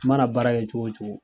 I mana baara kɛ cogo o cogo.